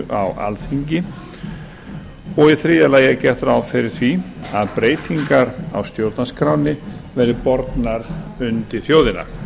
á alþingi og í þriðja lagi er gert ráð fyrir að breytingar á stjórnarskránni verði bornar undir þjóðina